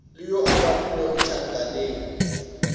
le yo a bipilwego tšhakaneng